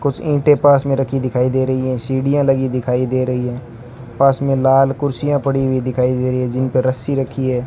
कुछ ईंटें पास मे रखी दिखाई दे रही हैं सीढ़ियां लगी दिखाई दे रही हैं पास में लाल कुर्सियां पड़ी हुई दिखाई दे रही है जिनपे रस्सी रखी है।